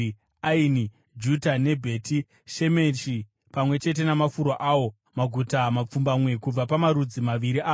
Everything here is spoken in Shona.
Aini, Juta neBheti Shemeshi, pamwe chete namafuro awo, maguta mapfumbamwe kubva pamarudzi maviri aya.